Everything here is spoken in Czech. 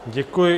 Děkuji.